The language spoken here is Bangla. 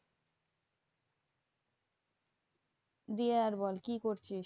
দিয়ে আর বল, কি করছিস?